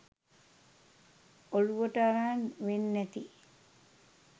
ඔලුවට අරන් වෙන්නැති